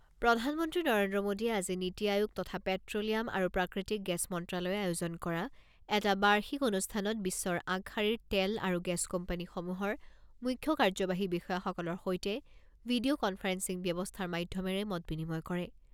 প্ৰধানমন্ত্ৰী নৰেন্দ্ৰ মোডীয়ে আজি নীতি আয়োগ তথা পেট্‌লিয়াম আৰু প্ৰাকৃতিক গেছ মন্ত্ৰালয়ে আয়োজন কৰা এটা বাৰ্ষিক অনুষ্ঠানত বিশ্বৰ আগশাৰীৰ তেল আৰু গেছ কোম্পানীসমূহৰ মুখ্য কাৰ্যবাহী বিষয়াসকলৰ সৈতে ভিডিঅ' কনফাৰেন্সিং ব্যৱস্থাৰ মাধ্যমেৰে মত বিনিময় কৰিব।